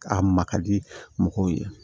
A ma ka di mɔgɔw ye